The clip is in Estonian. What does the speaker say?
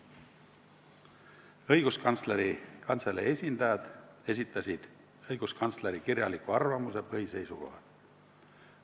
Õiguskantsleri Kantselei esindajad esitasid õiguskantsleri kirjaliku arvamuse põhiseisukohad.